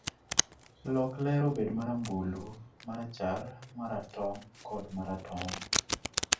lok ler obed marambulu, ma rachar, ma ratong' kata ma ratong'